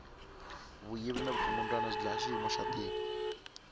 vuyvi ni vukungundwani swi dlaya xiyimo xa tiko